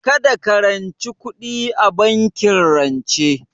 Kada ka ranci kuɗi a bankin rance